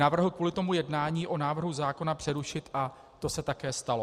Navrhl kvůli tomu jednání o návrhu zákona přerušit a to se také stalo.